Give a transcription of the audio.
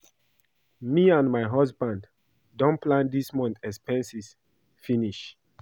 Me and my husband don plan dis month expenses finish